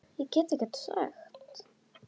Og það sem meira var.